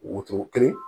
Wotoro kelen